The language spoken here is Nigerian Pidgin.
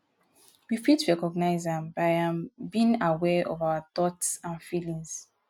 we fit recognize am by um being aware of our thoughts and feelings.